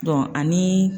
ani